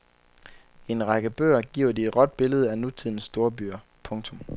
I en række bøger giver de et råt billede af nutidens storbyer. punktum